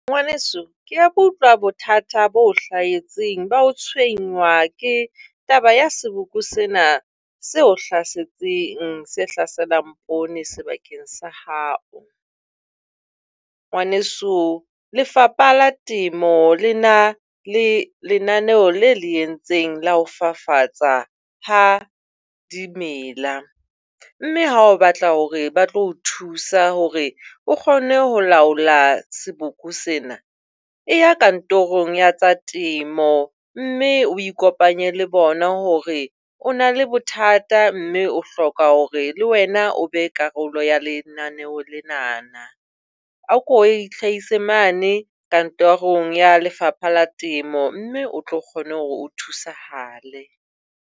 Ngwaneso, ke a utlwa bothata bo o hlahetseng ba ho tshwenngwa ka taba ya seboko sena se o hlasetseng, se hlaselang poone sebakeng sa hao. Ngwaneso, Lefapha la Temo le na le lenaneo le le entseng la ho fafatsa ha dimela. Mme ha o batla hore ba tlo o thusa hore o kgone ho laola seboko sena, e ya kantorong ya tsa temo mme o ikopanye le bona hore o na le bothata mme o hloka hore le wena o be karolo ya lenaneho lenana. Ako e itlhahise mane kantorong ya Lefapha la Temo mme o tlo kgona hore o thusahale.